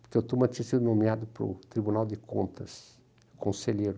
porque o Tuma tinha sido nomeado para o Tribunal de Contas, conselheiro.